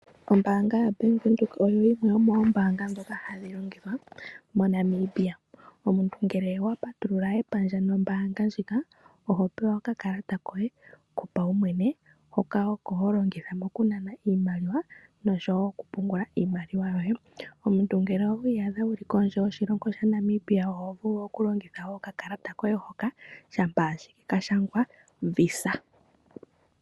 Ombaanga ya Bank Windhoek oyi yimwe yomoombaanga ndhoka hadhi longithwa mo Namibia. Omuntu ngele owa patulula epandja nombaanga ndjika oho pewa okakalata koye kopaumwene hoka oko holongitha oku nana iimaliwa nosho wo okupungula iimaliwa. Omuntu ngele owiiyadha wuli kondje yoshilongo sha Namibia oho vulu wo oku longitha okakalata hoka shampa ashike ka shangwa visa.